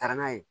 Taara n'a ye